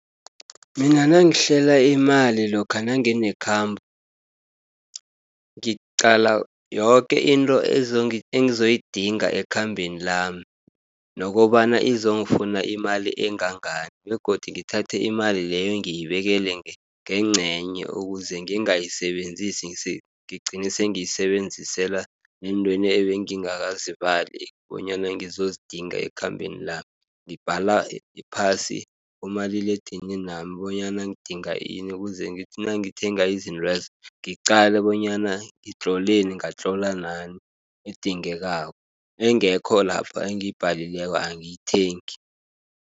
Mina nangihlela imali lokha nanginekhambo, ngiqala yoke into engizoyidinga ekhambeni lami, nokobana izongifuna imali engangani, begodu ngithathe imali leyo ngiyibekele ngengcenye ukuze ngingayisebenzisi ngigcine sengiyisebenzisela neentweni ebengingakazibali bonyana ngizozidinga ekhambeni lami. Ngibhala phasi kumaliledininami, bonyana ngidinga ini kuze ngithi nangithenga izintwezo, ngiqala bonyana ngitloleni ngatlola nani edingekako, engekho lapha engiyibhalileko angiyithengi.